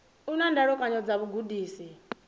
u na ndalukanyo dza vhugudisi